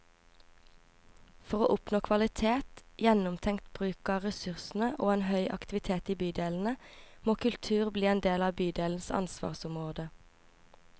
For å oppnå kvalitet, gjennomtenkt bruk av ressursene og en høy aktivitet i bydelene, må kultur bli en del av bydelenes ansvarsområde.